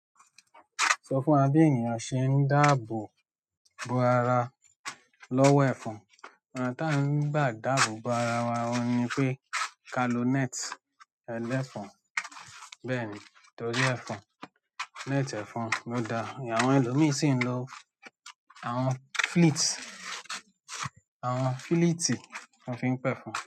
Sọ fún wa bí ènìyàn ṣe ń dáàbò bo ara lọ́wọ́ ẹ̀fọn. Ọ̀nà tí a ń gbà dáàbò bo ara wa ni pé kalonẹ́ẹ̀tì ẹlẹ́fọn. Bẹ́ẹ̀ ni, torí ẹ̀fọn, neti ẹ̀fọn lò da. Àwọn ẹlòmíràn sì ń lo àwọn fleet, àwọn fleetì ton fi ń pẹ̀fọn.